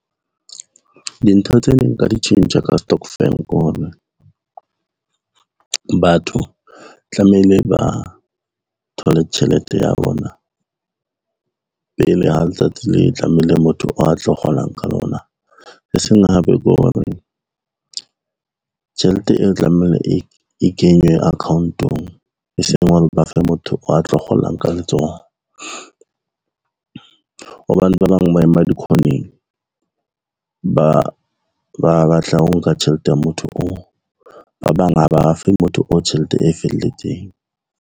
Dintho tse neng nka di tjhentjha ka stokvel ko hore, batho tlamehile ba thole tjhelete ya bona pele ha letsatsi le tlamehile motho a tlo kgolang ka lona. E seng tjhelete e tlamehile e kenywe account-ong, e seng ba fe motho wa tlo kgolang ka letsoho, hobane ba bang ba ema dikhoneng ba batla ho nka tjhelete ya motho oo, ba bang ha ba fe motho o tjhelete e felletseng.